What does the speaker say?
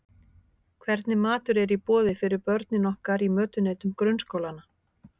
Hvernig matur er í boði fyrir börnin okkar í mötuneytum grunnskólanna?